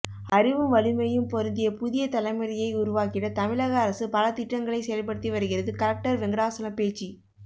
அறிவும் வலிமையும் பொருந்திய புதிய தலைமுறையை உருவாக்கிடதமிழக அரசு பல திட்டங்களை செயல்படுத்தி வருகிறது கலெக்டர் வெங்கடாசலம் பேச்சு